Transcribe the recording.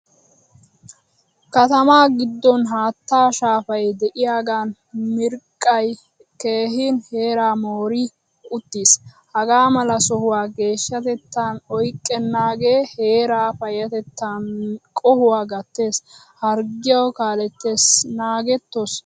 Kattama giddon haattaa shaafay de'iyagan miriqqay keehin heera moori uttiiis. Hagamala sohuwaa geeshshatettan oyqqenagee heeraa payatettan qohuwaa gattees. Harggiya kaalettees naagettoos!